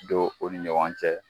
Don u ni ɲɔgɔn cɛ